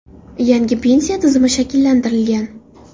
Yangi pensiya tizimi shakllantirilgan.